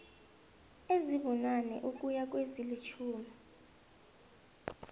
ezibunane ukuya kwezilitjhumi